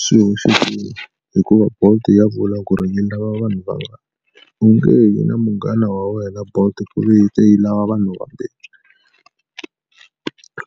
Swihoxekile hikuva bolt ya vula ku ri yi lava vanhu va vangani u nge yi na munghana wa wena bolt ku ve yi te yi lava vanhu vambirhi.